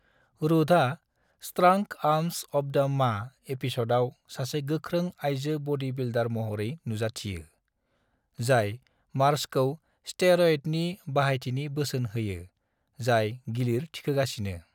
रूथआ "strong arms of the ma" एपिसोडआव सासे गोख्रों आइजो बडी बिल्डर महरै नुजाथियो, जाय मार्जखौ स्टेर'यडनि बाहायथिनि बोसोन होयो, जाय गिलिर थिखोगासिनो।